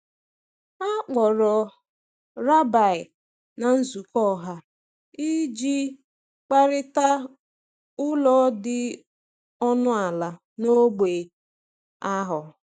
A kpọrọ rabbi na nzukọ ọha iji kparịta ụlọ dị ọnụ ala n’ógbè ahụ.